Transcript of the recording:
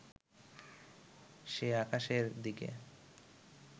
সে আকাশের দিকে